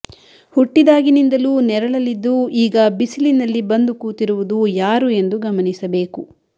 ಹುಟ್ಟಿದಾಗನಿಂದಲೂ ನೆರಳಲಿದ್ದು ಈಗ ಬಿಸಿಲಿನಲ್ಲಿ ಬಂದು ಕೂತಿರುವುದು ಯಾರು ಎಂದು ಗಮನಿಸಬೇಕು